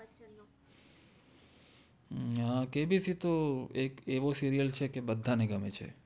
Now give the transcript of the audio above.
KBC તો એક એવો સિરિઅલ છે જે બદ્ધા ને ગમેછે